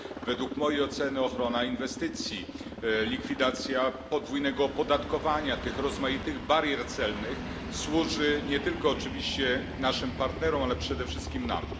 Według mojej oceny ochrona inwestycji, likwidacja podwójnego opodatkowania, tych rozmaitych barier celnych służy nie tylko oczywiście naszym partnerom, ale przede wszystkim nam.